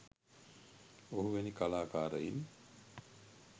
ඔහු වැනි කලාකාරයින්